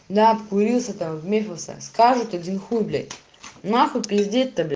да обкурился там минуса скажут один хуй блядь нахуй пиздеть тогда